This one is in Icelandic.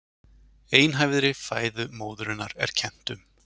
Einhæfri fæðu móðurinnar er kennt um